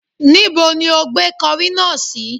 Níbo ni ó gbé kọrí náà sí?